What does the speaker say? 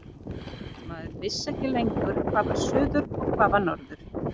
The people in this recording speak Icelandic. Maður vissi ekki lengur hvað var suður og hvað var norður.